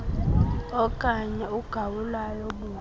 okanye ugawulayo buqu